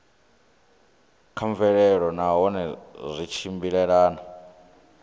kha mvelelo nahone zwi tshimbilelana